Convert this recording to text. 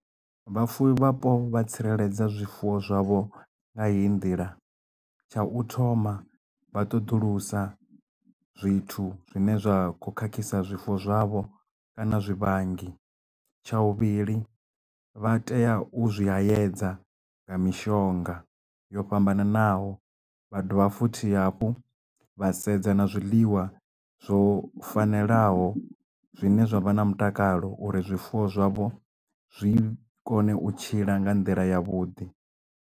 Vhafuwi vhapo vha tsireledza zwifuwo zwavho nga heyi nḓila tsha u thoma vha ṱoḓulusa zwithu zwine zwa kho khakhisa zwifuwo zwavho kana zwivhangi tsha vhuvhili vha tea u zwi haedza nga mishonga yo fhambananaho vha dovha futhi hafhu vha sedza na zwiḽiwa zwo fanelaho zwine zwa vha na mutakalo uri zwifuwo zwavho zwi kone u tshila nga nḓila ya vhuḓi.